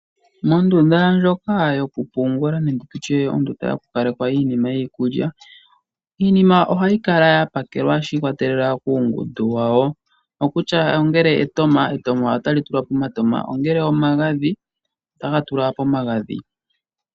Mondunda ndjoka yokupungula nenge tutye ondunda yokukalekwa iinima yiikulya. Iinima ohayi kala ya pakelwa shi ikolelela kuungundu wawo. Okutya ngele etama, etama otali tulwa pomatama omakwawo. Ongele omagadhi ota ga tulwa pomagadhi.